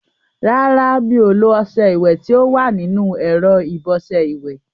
Rárá, mi ò lo ọṣẹ ìwẹ̀ tí ó wà nínú ẹ̀rọ ìbọṣẹ ìwẹ̀.